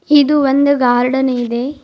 ಇದು ಒಂದು ಗಾರ್ಡನ್ ಇದೆ.